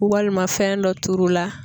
Walima fɛn dɔ turu la